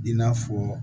I n'a fɔ